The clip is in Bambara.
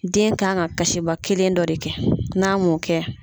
Den kan ka kasiba kelen dɔ de kɛ. N'a m'o kɛ